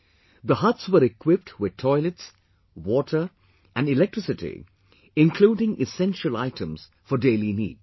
The huts were equipped with toilets, water, and electricity, including essential items for daily needs